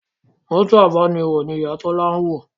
Mọ́tò abániwọ̀ ni Ìyá Tọ́lá wọ̀